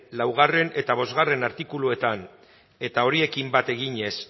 laugarrena eta bostgarrena artikuluetan eta horiekin bat eginez